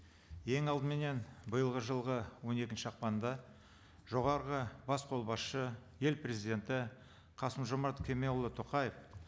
ең алдыменен биылғы жылғы он екінші ақпанда жоғарғы бас қолбасшы ел президенті қасым жомарт кемелұлы тоқаев